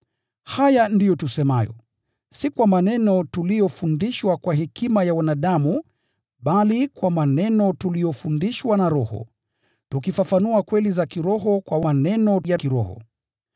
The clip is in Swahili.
Haya ndiyo tusemayo, si kwa maneno tuliyofundishwa kwa hekima ya wanadamu bali kwa maneno tuliyofundishwa na Roho, tukifafanua kweli za kiroho kwa maneno ya kiroho.